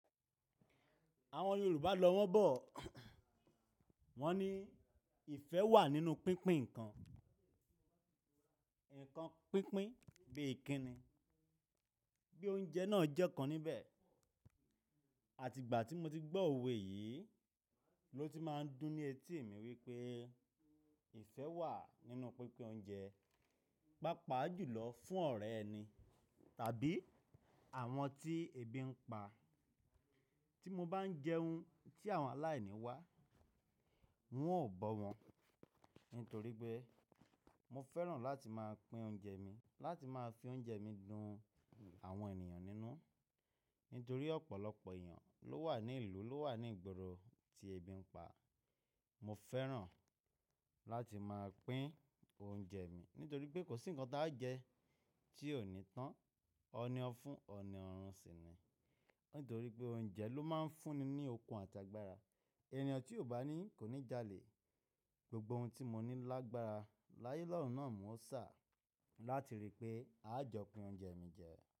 Àwọn Yorùbá lọ wọ́n bọ̀. Wọ́n ní ìfẹ́ wà nínú pínpín ǹkan. Ǹkan pínpín bí i kinni, bí i oúnjẹ náà jẹ́ kan níbẹ̀. Àti ìgbà tí mo ti gbọ́ òwe yìí ló ti máa ń dùn ní etí mi wípé ìfẹ́ wà nínú pínpín oúnjẹ. Pápá jùlọ fún ọ̀rẹ́ ẹni tàbí àwọn tí ebi ń pa. Tí mo bá ń jẹun tí àwọn aláìní wá, n óò bọ́ wọn nítorí pé mo fẹ́ràn láti máa pín oúnjẹ mi, láti máa fi oúnjẹ mi dun àwọn ènìyàn nínú. Nítorí ọ̀pọ̀lọpọ̀ èèyàn ló wà ní ìlú, ló wà ní ìgboro tí ebi ń pa. Mo fẹ́ràn láti máa pín oúnjẹ mi nítorí pé kò sí ǹkan tí a jẹ tí ò ní tán, ọ̀ọ̀ni ọ́ fún, ọ̀ọ̀ni ọ̀run sì ni. Nítorí pé oúnjẹ ló máa ń fún ni ní okun àti agbára. Ènìyàn tí ò bá ní kò ní jalè. Gbogbo ohun tí mo ní lágbára láyé lorun náà ni mo sá láti rí i pé a jọ pin oúnjẹ mi jẹ.